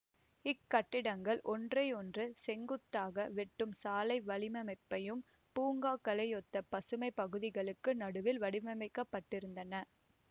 இக்கட்டிடங்கள் ஒன்றையொன்று செங்குத்தாக வெட்டும் சாலை வலையமைப்பையும் பூங்காக்களையொத்த பசுமைப் பகுதிகளுக்கும் நடுவில் வடிவமைக்கப்பட்டிருந்தன